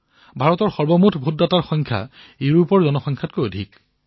ভাৰতৰ মুঠ ভোটদাতাৰ যি সংখ্যা সেয়া ইউৰোপৰ জনসংখ্যাতকৈও অধিক